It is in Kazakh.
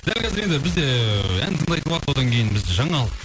дәл қазір енді бізде ыыы ән тыңдайтын уақыт одан кейін бізде жаңалық